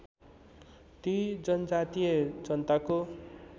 ती जनजातीय जनताको